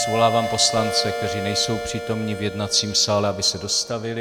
Svolávám poslance, kteří nejsou přítomni v jednacím sále, aby se dostavili.